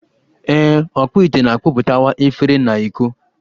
Ee, ọkpụ ite na-akpụtakwa efere na iko